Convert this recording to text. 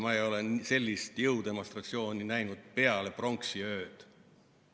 Ma ei ole sellist jõudemonstratsiooni näinud peale pronksiööd.